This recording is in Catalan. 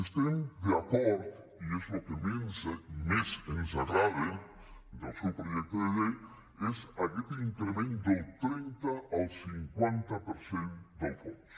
estem d’acord i és el que més ens agrada del seu projecte de llei en aquest increment del trenta al cinquanta per cent del fons